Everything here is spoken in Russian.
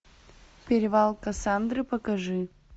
перевал кассандры покажи